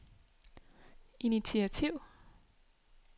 initiativ